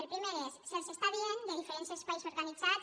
el primer és se’ls està dient de diferents espais organitzats